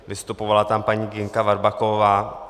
Vystupovala tam paní Ginka Varbakovová.